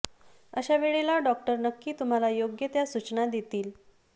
अशा वेळेला डॉक्टर नक्की तुम्हाला योग्य त्या सूचना देतील